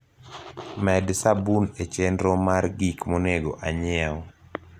med sabun e chenro mar gik monego anyiew